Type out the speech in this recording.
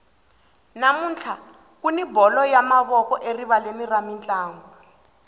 namuntlha kuni bolo ya mavoko erivaleni ra mintlangu